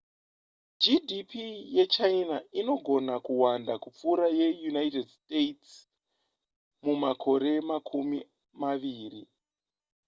gdp yechina inogona kuwanda kupfuura yeunited states mumakore makumi maviri